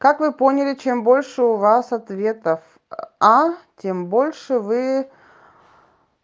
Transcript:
как вы поняли чем больше у вас ответов а тем больше вы